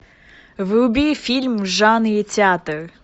вруби фильм в жанре театр